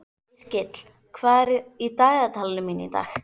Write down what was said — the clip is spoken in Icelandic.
Yrkill, hvað er í dagatalinu mínu í dag?